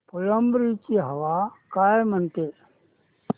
फुलंब्री ची हवा काय म्हणते